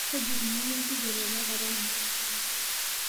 kaji eikununo enkijiape tenakata nji